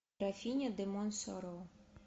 графиня де монсоро